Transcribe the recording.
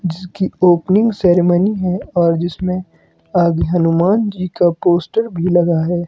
जिसकी opening ceremony है और जिसमें आगे हनुमान जी का पोस्टर भी लगा है।